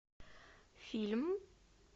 фильм